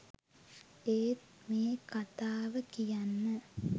ඒත් මේ කතාව කියන්න